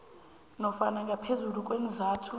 nofana ngaphezulu kweenzathu